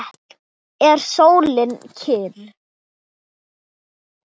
Er sólin kyrr?